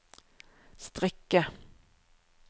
strikke